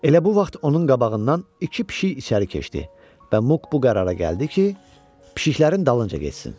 Elə bu vaxt onun qabağından iki pişik içəri keçdi və Muk bu qərara gəldi ki, pişiklərinin dalınca getsin.